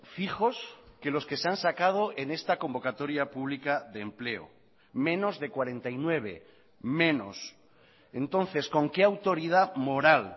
fijos que los que se han sacado en esta convocatoria pública de empleo menos de cuarenta y nueve menos entonces con que autoridad moral